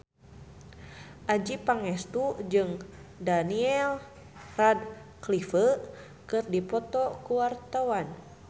Adjie Pangestu jeung Daniel Radcliffe keur dipoto ku wartawan